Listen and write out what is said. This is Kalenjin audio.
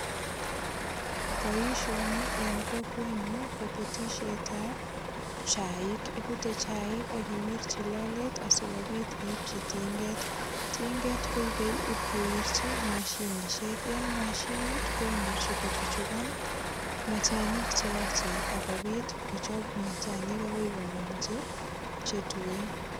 Boisioni eng kokwenyu kobutisietab chaik. Ibute chaik ak iwirchi lolet asigopit iwirchi tinget. Tinget koipei ipkowirchi mashinisiek. En mashinit komuche kochuchugan machanik che yaachen ak kopit kochop machanik agoi komong che tuen.